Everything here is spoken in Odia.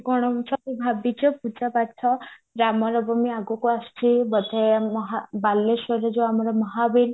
କଣ ସବୁ ଭାବିଚ ପୂଜା ପାଠ ରାମ ନବମୀ ଆଗକୁ ଆସୁଚି ବୋଧେ ମହା ବାଲେଶ୍ଵରରେ ଯୋଉ ଆମର ମହାବୀର